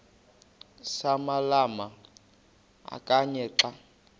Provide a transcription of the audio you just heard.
samalama kanye xa